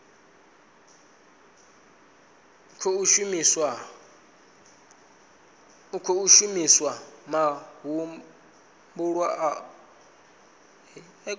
khou shumiswa mahumbulwa o newaho